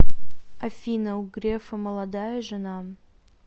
афина у грефа молодая жена